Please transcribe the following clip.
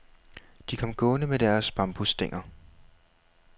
De kom gående med deres bambusstænger.